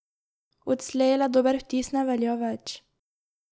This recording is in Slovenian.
Odslej le dober vtis ne velja več.